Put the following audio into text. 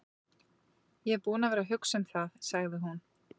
Ég er búin að vera að hugsa um það, sagði hún.